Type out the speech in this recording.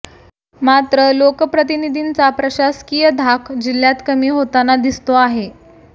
मात्र लोकप्रतिनिधींचा प्रशासकीय धाक जिल्ह्यात कमी होताना दिसतो आहे